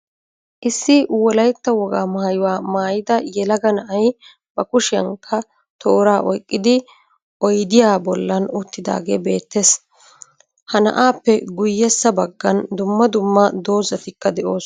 Issi wolaytta woga maayuwa maayida yeelagaa na'ay ba kushiyankka tooraa oyqqidi oyddiyaa bollan uttidagee beettees. Ha naa7appe guyeessa baggan duummaa duummaa doozatikka de7osonaa